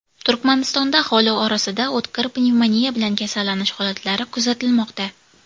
Turkmanistonda aholi orasida o‘tkir pnevmoniya bilan kasallanish holatlari kuzatilmoqda.